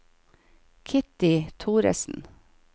Kitty Thoresen